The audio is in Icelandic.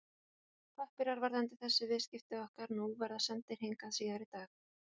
Pappírar varðandi þessi viðskipti okkar nú verða sendir hingað síðar í dag.